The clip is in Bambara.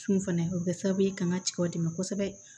Cun fana o bɛ kɛ sababu ye ka n ka cɛw dɛmɛ kosɛbɛ